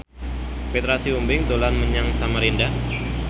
Petra Sihombing dolan menyang Samarinda